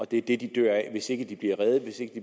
det er det de dør af hvis de ikke bliver reddet